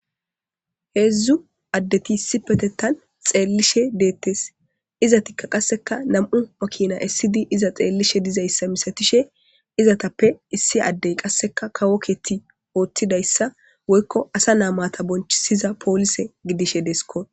heedzdzu addeti isi petetan xeellishe deettes izatikka qasseka nam7u makina issidi iza xeellishe dizayssa misatishe izatappe issi addey qasseka kawo keeti oothtidayssa woykko asa naamata bonchisiza poolise gidishe deesko